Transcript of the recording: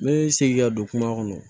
N bɛ segin ka don kuma kɔnɔ